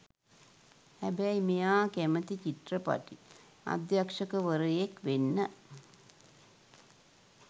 හැබැයි මෙයා කැමති චිත්‍රපටි අධ්‍යක්ෂකවරයෙක් වෙන්න.